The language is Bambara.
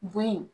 Bon